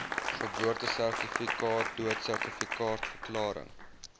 geboortesertifikate doodsertifikaat verklaring